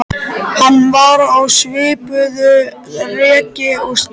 Hann var á svipuðu reki og Stína.